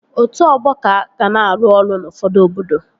Otu ọgbọ ka ga na-arụ ọrụ n'ufọdụ obodo